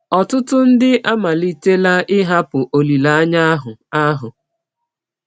Ọtụtụ ndị amalitela ịhapụ olileanya ahụ. ahụ.